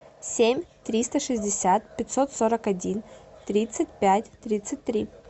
семь триста шестьдесят пятьсот сорок один тридцать пять тридцать три